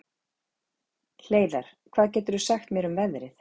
Hleiðar, hvað geturðu sagt mér um veðrið?